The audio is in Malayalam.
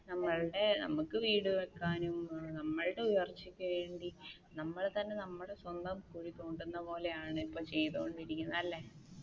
നമ്മളുടെ നമുക്ക് വീട് വെക്കുവാനും നമ്മളുടെ ഉയർച്ചക്ക് വേണ്ടി നമ്മൾ തന്നെ നമ്മുടെ സ്വന്തം കുഴി തോണ്ടുന്ന പോലെയാണ് ഇപ്പൊ ചെയ്തോണ്ടിരിക്കുന്നത് അല്ല?